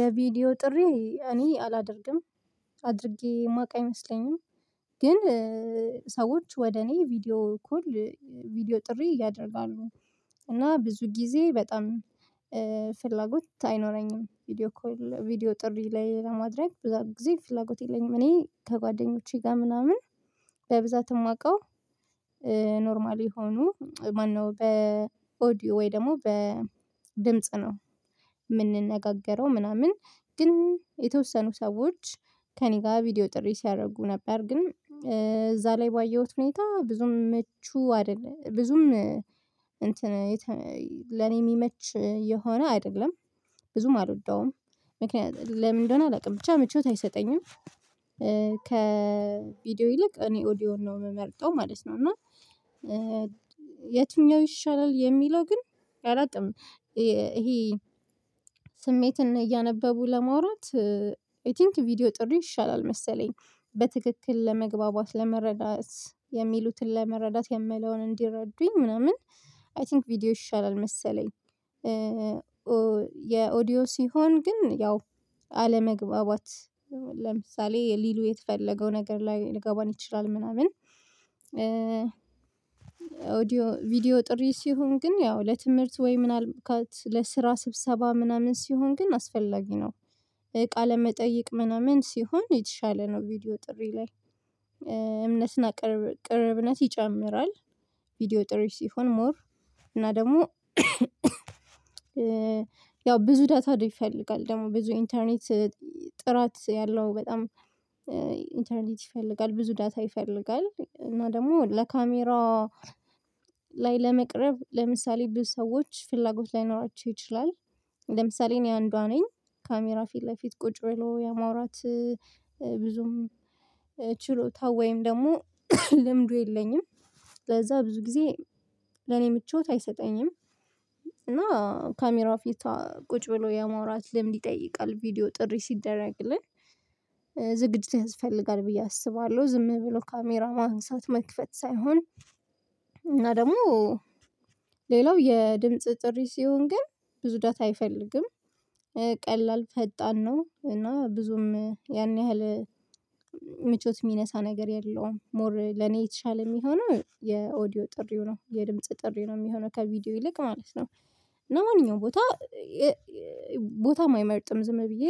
የቪዲዮ ጥሪ እኔ አላደርግም አድርጌ የማውቅ አይመስለኝም። ግን ሰዎች ወደ እኔ ቪዲዮ ኮል ቪዲዮ ጥሪ ያደርጋሉ እና ብዙ ጊዜ በጣም ፍላጎት አይኖረኝም። ቪዲዮ ኮል ቪዲዮ ጥሪ ላይ ለማድረግ ብዙ ጊዜ ፍላጎት የለኝም። እኔ ከጓደኞቼ ጋር ምናምን በብዛት የማውቀው ኖርማል የሆኑ ማነው በኦዲዮ ወይ ደግሞ በድምጽ ነው። ምናምን ግን የተወሰኑ ሰዎች ከእኔ ጋር ቪዲዮ ጥሪ ሲያደርጉ ነበር ግን እዛ ላይ ባየሁት ሁኔታ ብዙም መቹ አይደለም ብዙም እንትን ለኔ የሚመች የሆነ አይደለም። ብዙም አልወደውም። ምክንያት ለምን እንደሆነ አላውቅም ብቻ ምቾት አይሰጠኝም። ከቪዲዮ ይልቅ እኔ ኦዲዮን ነው የምመርጠው ማለት ነው። እና የትኛው ይሻላል የሚለው ግን አላቅም። ይሄ ስሜትን እያነበቡ ለመውራት አይቲንክ ቪዲዮ ጥሩ ይሻላል መሰለኝ በትክክል ለመግባባት ለመረዳት የሚሉትን ለመረዳት የምለውን እንዲረዱኝ ምናምን አይቲንክ ቪዲዮ ይሻላል መሰለኝ። የኦዲዮ ሲሆን ግን ያው አለመግባባት ለምሳሌ ሊሉ የተፈለገው ነገር ላይ ልገባን ይችላል ምናምን። ቪዲዮ ጥሪ ሲሆን ግን ያው ለትምህርት ወይ ምን አልካት ለስራ ስብሰባ ምናምን ሲሆን ግን አስፈላጊ ነው። ቃለ መጠይቅ ምናምን ሲሆን የተሻለ ነው ቪዲዮ ጥሪ ላይ ቅርብነት ይጨምራል። ቪዲዮ ጥሪ ሲሆን ሞር እና ደግሞ ያው ብዙ ዳታ ይፈልጋል ደግሞ ብዙ ኢንተርኔት። ጥራት ያለው በጣም ኢንተርኔት ይፈልጋል ብዙ ዳታ ይፈልጋል እና ደግሞ ለካሜራ ላይ ለመቅረብ ለምሳሌ ብዙ ሰዎች ፍላጎት ላይኖራቸው ይችላል። ለምሳሌ እኔ አንዷ ነኝ ካሜራ ፊት ለፊት ቁጭ ብሎ የማውራት ብዙም ችሎታ ወይም ደግሞ ልምዱ የለኝም። ለዛ ብዙ ጊዜ ለኔ ምቾት አይሰጠኝም። ካሜራው ፊቷ ቁጭ ብሎ የማውራት ልምድ ይጠይቃል ቪዲዮ ጥሪ ሲደረግልን ዝግጅት ያስፈልጋል ብዬ አስባለሁ። ዝም ብሎ ካሜራ ማንሳት መክፈት ሳይሆን እና ደግሞ ሌላው የድምጽ ጥሪ ሲሆን ግን ብዙ ዳታ አይፈልግም። ቀላል ፈጣን ነው እና ብዙም ያን ያህል ምቾት የሚነሳ ነገር የለውም። ሞር ለኔ የተሻለ የሚሆነው የኦዲዮ ጥሪው ነው የድምጽ ጥሪው ነው የሚሆነው ከቪዲዮ ይልቅ ማለት ነው። እና ማንኛውም ቦታ ቦታም አይመርጥም ዝም ብዬ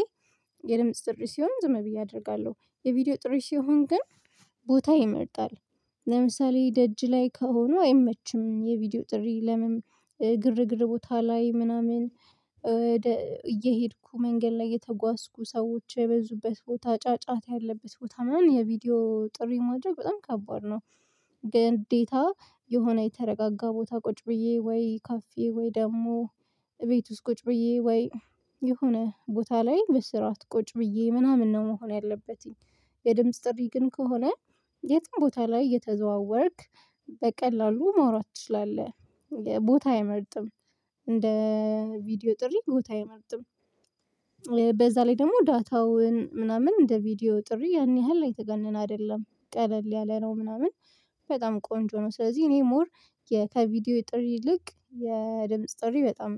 የድምጽ ጥሪ ሲሆን ዝም ብዬ አደርጋለሁ የቪዲዮ ጥሪ ሲሆን ግን ቦታ ይመርጣል። ለምሳሌ ደጅ ላይ ከሆኑ አይመችም የቪዲዮ ጥሪ ለምን ግርግር ቦታ ላይ ምናምን እየሄድኩ መንገድ ላይ የተጓዝኩ ሰዎች የበዙበት ቦታ ጫጫታ ያለበት ቦታ ምናምን የቪዲዮ ጥሪ ማድረግ በጣም ከባድ ነው። ግዴታ የሆነ የተረጋጋ ቦታ ቁጭ ብዬ ወይ ካፌ ወይ ደግሞ እቤት ውስጥ ቁጭ ብዬ ወይ የሆነ ቦታ ላይ በስርዓት ቁጭ ብዬ ምናምን ነው መሆን ያለበትኝ። የድምጽ ጥሪ ግን ከሆነ የትም ቦታ ላይ የተዘዋወርክ በቀላሉ ማውራት ትችላለህ። ቦታ አይመርጥም። እንደ ቪዲዮ ጥሪ ቦታ አይመርጥም። በዛ ላይ ደግሞ ዳታውን ምናምን እንደ ቪዲዮ ጥሪ ያን ያህል የተጋነነ አይደለም ቀለል ያለ ነው ምናምን በጣም ቆንጆ ነው። ስለዚህ እኔ ሞር የ ከቪዲዮ ጥሪ ይልቅ የድምጽ ጥሪ በጣም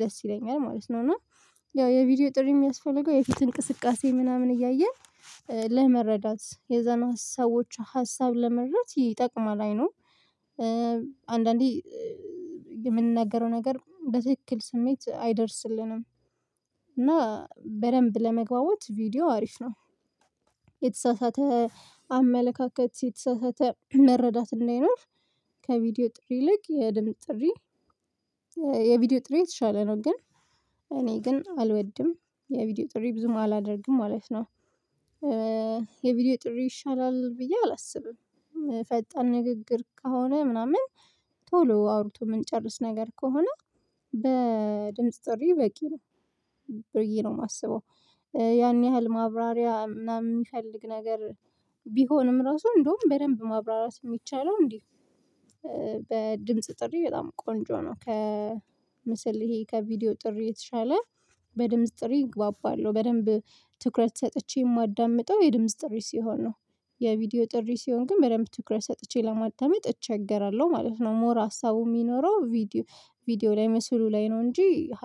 ደስ ይለኛል ማለት ነው። እና ያው የቪዲዮ ጥሪ የሚያስፈልገው የፊት እንቅስቃሴ ምናምን እያየን ለመረዳት የዛን ሰወች ሀሳቦች ሀሳብ ለመረዳት ይጠቅማል አይኖው አንዳንዴ የምንናገረው ነገር በትክክል ስሜት አይደርስልንም እና በደንብ ለመግባባት ቪዲዮ አሪፍ ነው። የተሳሳተ አመለካከት የተሳሳተ መረዳት እንዳይኖር። ከቪዲዮ ጥሪ ይልቅ የድምጽ ጥሪ የቪዲዮ ጥሪ የተሻለ ነው። ግን እኔ ግን አልወድም የቪዲዮ ጥሪ ብዙም አላደርግም ማለት ነው። የቪዲዮ ጥሪ ይሻላል ብዬ አላስብም። ፈጣን ንግግር ከሆነ ምናምን ቶሎ አውርቶ የምንጨርስ ነገር ከሆነ በድምጽ ጥሪ በቂ ነው። ብዬ ነው የማስበው። ያን ያህል ማብራሪያ ምናምን የሚፈልግ ነገር ቢሆንም ራሱ እንደውም በደንብ ማብራራት የሚቻለው እንዴ በድምጽ ጥሪ በጣም ቆንጆ ነው። ከምስል ይሄ ከቪዲዮ ጥሪ የተሻለ በድምጽ ጥሪ እግባባለሁ በደንብ ትኩረት ሰጥቼ የማዳምጠው የድምጽ ጥሪ ሲሆን ነው። የቪዲዮ ጥሪ ሲሆን ግን በደንብ ትኩረት ሰጥቼ ለማዳመጥ እቸገራለሁ ማለት ነው። ሞር ሀሳቡ የሚኖረው ቪዲዮ ቪዲዮ ላይ መስሉ ላይ ነው እንጂ።